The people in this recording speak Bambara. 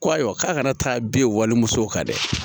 Ko ayiwa k'a ka na taa bin wali musow kan dɛ